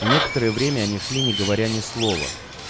и некоторое время они шли не говоря ни слова